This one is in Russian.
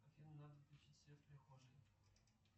афина надо включить свет в прихожей